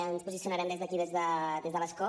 ens posicionarem des d’aquí des de l’escó